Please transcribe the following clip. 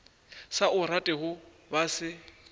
sa o ratego ba se